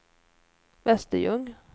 Västerljung